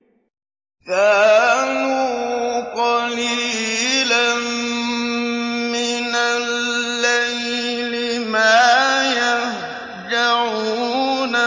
كَانُوا قَلِيلًا مِّنَ اللَّيْلِ مَا يَهْجَعُونَ